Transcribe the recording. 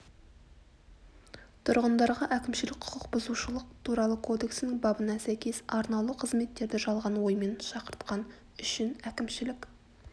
тұрғындарға әкімшілік құқық бұзушылық туралы кодексінің бабына сәйкес арнаулы қызметтерді жалған оймен шақыртқан үшін әкімшілік